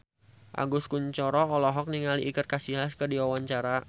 Agus Kuncoro olohok ningali Iker Casillas keur diwawancara